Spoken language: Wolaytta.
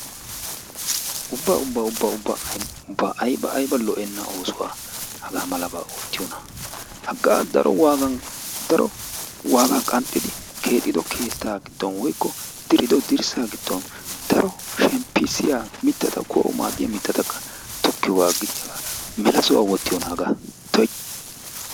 Ubba ubba ubba ubba aybba aybba lo"enna oosuwaa haggamalabba oottiyonna? Hagaa daro waagga qanxiddi keexiddo keetta giddon woykko diriddo dirssa giddon daro shimppissiya mittatta kuwaawu maadiyaa mitattakka tokkiyogga agiddi haggaa mella soho wottiyonna, tuuyi!